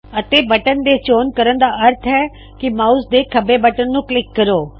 ਅਤੇ ਬਟਨ ਦੇ ਚੋਣ ਕਰਣ ਦਾ ਅਰਥ ਹੈ ਕਿ ਮਾਉਸ ਦੇ ਖੱਬੇ ਬਟਨ ਨੂੰ ਕਲਿੱਕ ਕਰੋ